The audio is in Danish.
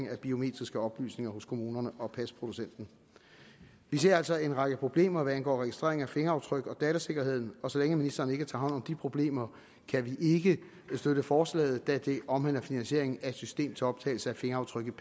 af biometriske oplysninger hos kommunerne og pasproducenten vi ser altså en række problemer hvad angår registrering af fingeraftryk og datasikkerheden og så længe ministeren ikke tager hånd om de problemer kan vi ikke støtte forslaget da det omhandler finansieringen af et system til optagelse af fingeraftryk